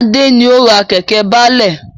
Adé ni ó ra Kẹ̀kẹ́ baálẹ̀